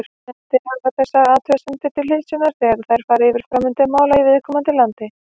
Nefndir hafa þessar athugasemdir til hliðsjónar þegar þær fara yfir framvindu mála í viðkomandi landi.